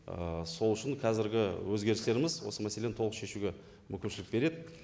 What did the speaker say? ііі сол үшін қазіргі өзгерістеріміз осы мәселені толық шешуге мүмкіншілік береді